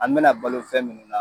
An bɛna balo fɛn minnu na